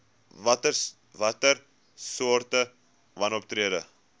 watter soorte wanoptrede